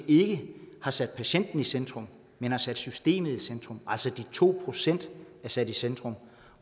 ikke har sat patienten i centrum men har sat systemet i centrum altså de to procent er sat i centrum